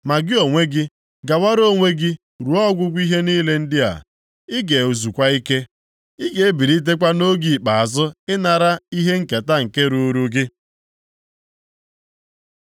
“Ma gị onwe, gawara onwe gị ruo ọgwụgwụ ihe ndị a. Ị ga-ezukwa ike, ị ga-ebilitekwa nʼoge ikpeazụ ịnara ihe nketa nke ruuru gị.”